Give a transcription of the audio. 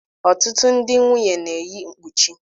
Ọtụtụ ndị nwunye na-eyi mkpuchi.